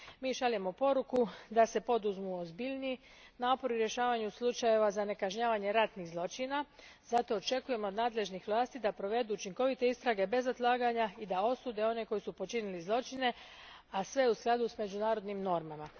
Šaljemo poruku da se poduzmu ozbiljniji napori u rješavanju slučajeva za kažnjavanje ratnih zločina zato očekujemo od nadležnih vlasti da provedu učinkovite istrage bez odlaganja i da osude one koji su počinili zločine, a sve u skladu s međunarodnim normama.